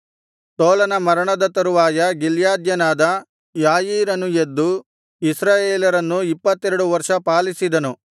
ತೋಲನ ಮರಣದ ತರುವಾಯ ಗಿಲ್ಯಾದ್ಯನಾದ ಯಾಯೀರನು ಎದ್ದು ಇಸ್ರಾಯೇಲರನ್ನು ಇಪ್ಪತ್ತೆರಡು ವರ್ಷ ಪಾಲಿಸಿದನು